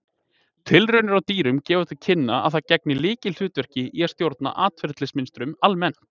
Tilraunir á dýrum gefa til kynna að það gegni lykilhlutverki í að stjórna atferlismynstrum almennt.